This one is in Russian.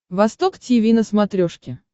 восток тиви на смотрешке